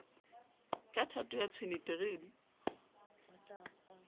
ka thato ya tshwene terene